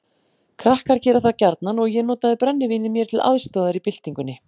Krakkar gera það gjarnan og ég notaði brennivínið mér til aðstoðar í byltingunni.